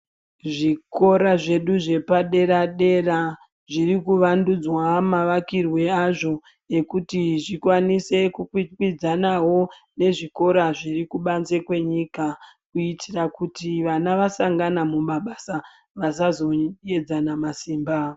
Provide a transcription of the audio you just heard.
Zvikora zvedu zvepadera dera zviri kuwandudzwa mavakirwe azvo ekuti zvikwanise kukwikwidzanawo nezvikora zviri kubanze kwenyika kuitira kuti vana vasangana mumabasa vasazoedzana masimba.